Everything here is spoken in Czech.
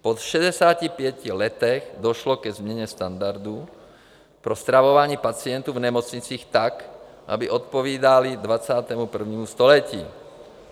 Po 65 letech došlo ke změně standardu pro stravování pacientů v nemocnicích tak, aby odpovídaly 21. století.